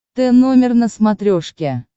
т номер на смотрешке